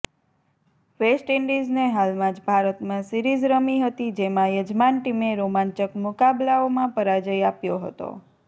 વેસ્ટઇંડીઝને હાલમાં જ ભારતમાં સિરીઝ રમી હતી જેમાં યજમાન ટીમે રોમાંચક મુકાબલાઓમાં પરાજય આપ્યો હતો